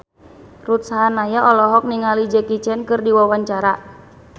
Ruth Sahanaya olohok ningali Jackie Chan keur diwawancara